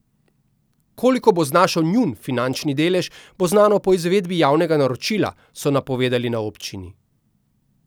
Koliko bo znašal njun finančni delež, bo znano po izvedbi javnega naročila, so napovedali na občini.